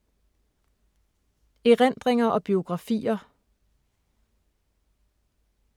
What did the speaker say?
Erindringer og biografier